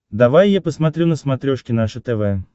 давай я посмотрю на смотрешке наше тв